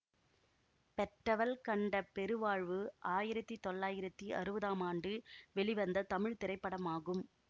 பெற்றவள் கண்ட பெருவாழ்வு ஆயிரத்தி தொள்ளாயிரத்தி அறுவதாம் ஆண்டு வெளிவந்த தமிழ் திரைப்படமாகும்